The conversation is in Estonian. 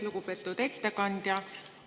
Lugupeetud ettekandja!